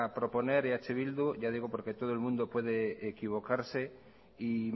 proponer eh bildu ya digo porque todo el mundo podría equivocarse y